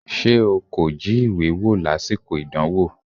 Ṣé o kò jí ìwé wò lásìkò ìdánwò?